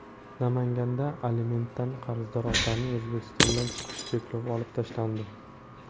Namanganda alimentdan qarzdor otaning O‘zbekistondan chiqish cheklovi olib tashlandi.